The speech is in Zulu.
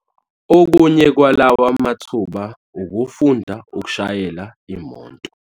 Okunye kwalawa mathuba ukufunda ukushayela imoto.